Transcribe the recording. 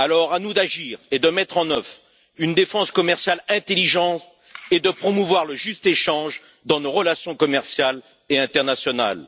À nous d'agir, de mettre en œuvre une défense commerciale intelligente et de promouvoir le juste échange dans nos relations commerciales et internationales.